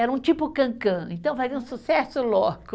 Era um tipo cã cã, então fazia um sucesso louco.